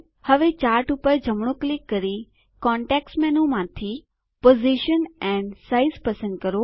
હવે ચાર્ટ પર જમણું ક્લિક કરી કોંટેકસ્ટ મેનૂમાંથી પોઝિશન એન્ડ સાઇઝ પસંદ કરો